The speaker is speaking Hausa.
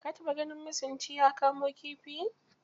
Ka taba ganin masunci ya kamo kifi?